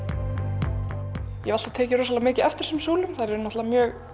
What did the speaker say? ég hef alltaf tekið rosalega mikið eftir þessum súlum þær eru mjög